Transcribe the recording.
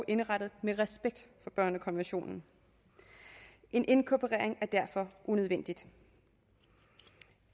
indrettet med respekt for børnekonventionen en inkorporering er derfor unødvendig